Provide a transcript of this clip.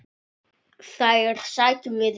Þær sækjum við í kvöld.